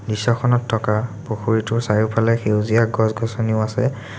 দৃশ্যখনত থকা পুখুৰীটোৰ চাৰিওফালে সেউজীয়া গছ-গছনিও আছে।